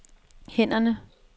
hænderne